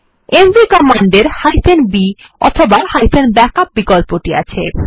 MV command এর b অথবা backup বিকল্পটি আছে